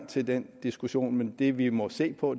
til den diskussion men det vi må se på